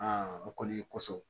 o kɔni kosɔn